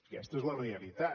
aquesta és la realitat